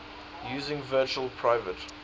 using virtual private